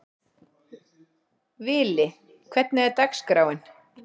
Vili, hvernig er dagskráin?